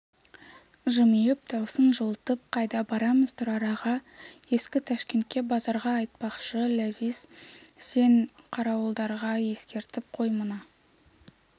жымиып даусын жылытып қайда барамыз тұрар-аға ескі ташкентке базарға айтпақшы ләзиз сен қарауылдарға ескертіп қой мына